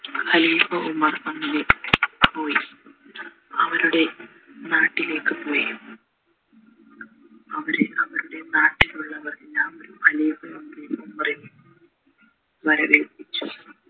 ഖലീഫ Umar അങ്ങനെ പോയ് അവരുടെ നാട്ടിലേക്ക് പോയ് അവര് അവരുടെ നാട്ടിലുള്ളവർ ഖലീഫ ഉമറേ വളരെ